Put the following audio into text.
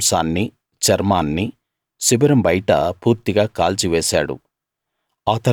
దాని మాంసాన్నీ చర్మాన్నీ శిబిరం బయట పూర్తిగా కాల్చివేశాడు